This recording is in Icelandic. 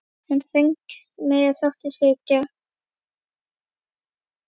En þröngt mega sáttir sitja.